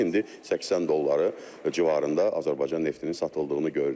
İndi 80 dollar civarında Azərbaycan neftinin satıldığını görürük.